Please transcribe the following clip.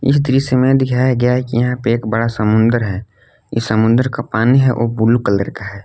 इस दृश्य में दिखाया गया है कि यहां पे एक बड़ा समुद्र है इस समुद्र का पानी है वो ब्लू कलर का है।